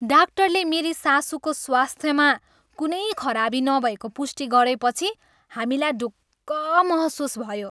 डाक्टरले मेरी सासुको स्वास्थ्यमा कुनै खराबी नभएको पुष्टि गरेपछि हामीलाई ढुक्क महसुस भयो।